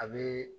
A bɛ